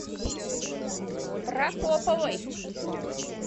прокоповой